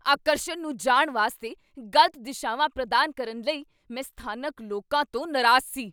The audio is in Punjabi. ਆਕਰਸ਼ਣ ਨੂੰ ਜਾਣ ਵਾਸਤੇ ਗ਼ਲਤ ਦਿਸ਼ਾਵਾਂ ਪ੍ਰਦਾਨ ਕਰਨ ਲਈ ਮੈਂ ਸਥਾਨਕ ਲੋਕਾਂ ਤੋਂ ਨਾਰਾਜ਼ ਸੀ।